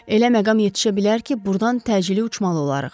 Elə məqam yetişə bilər ki, burdan təcili uçmalı olarıq.